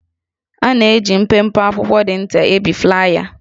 A na-eji mpempe akwụkwọ dị nta ebi flaya